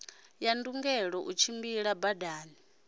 ya ndungelo u tshimbila badani